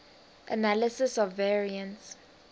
analysis of variance